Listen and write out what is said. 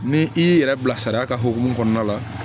Ni i y'i yɛrɛ bila sariya ka hokumu kɔnɔna la